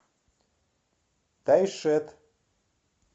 тайшет